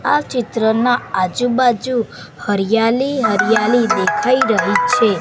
આ ચિત્રમાં આજુ બાજુ હરિયાલી હરિયાલી દેખાય રહી છે.